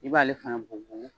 I b'ale fana bugubugu